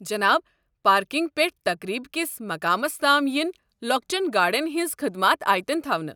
جناب، پارکنگ پٮ۪ٹھ تقریب کِس مقامَس تام یِنہِ لۄکچَن گاڑٮ۪ن ہِنٛز خدمات آیتن تھونہٕ ۔